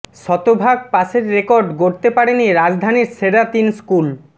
শতভাগ পাসের রেকর্ড গড়তে পারেনি রাজধানীর সেরা তিন স্কুল